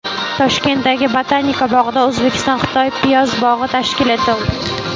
Toshkentdagi Botanika bog‘ida O‘zbekiston-Xitoy piyoz bog‘i tashkil etildi.